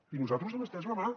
i nosaltres hem estès la mà